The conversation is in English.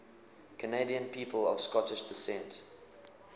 canadian people of scottish descent